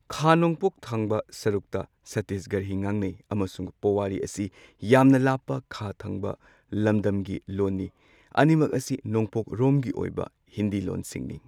ꯈꯥ ꯅꯣꯡꯄꯣꯛ ꯊꯪꯕ ꯁꯔꯨꯛꯇ ꯁꯠꯇꯤꯁꯒꯔꯍꯤ ꯉꯥꯡꯅꯩ ꯑꯃꯁꯨꯡ ꯄꯣꯋꯥꯔꯤ ꯑꯁꯤ ꯌꯥꯝꯅ ꯂꯥꯞꯄ ꯈꯥ ꯊꯪꯕ ꯂꯝꯗꯝꯒꯤ ꯂꯣꯟꯅꯤ꯫ ꯑꯅꯤꯃꯛ ꯑꯁꯤ ꯅꯣꯡꯄꯣꯛꯔꯣꯝꯒꯤ ꯑꯣꯏꯕ ꯍꯤꯟꯗꯤ ꯂꯣꯟꯁꯤꯡꯅꯤ꯫